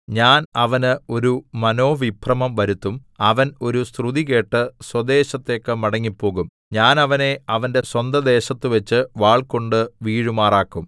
ഞാൻ അവന് ഒരു മനോവിഭ്രമം വരുത്തും അവൻ ഒരു ശ്രുതി കേട്ട് സ്വദേശത്തേക്ക് മടങ്ങിപ്പോകും ഞാൻ അവനെ അവന്റെ സ്വന്തദേശത്തുവെച്ച് വാൾകൊണ്ട് വീഴുമാറാക്കും